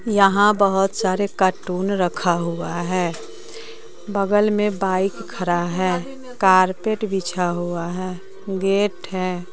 यहां बहुत सारे कार्टून रखा हुआ है बगल में बाइक खड़ा है कारपेट बिछा हुआ है गेट है।